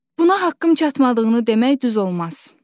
Buna haqqım çatmadığını demək düz olmaz.